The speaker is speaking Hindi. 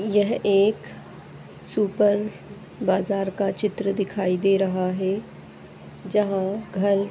यह एक सुपर बाजार का चित्र दिखाई दे रहा हे जहा घर--